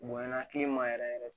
Bonya kile man yɛrɛ yɛrɛ